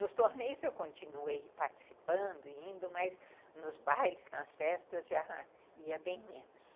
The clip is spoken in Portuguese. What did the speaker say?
Nos torneios, eu continuei participando e indo, mas nos bailes, nas festas, já ia bem menos.